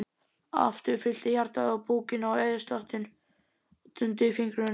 Aftur fyllti hjartað búkinn og æðaslátturinn dundi í fingrunum.